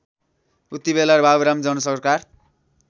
उतिबेला बाबुराम जनसरकार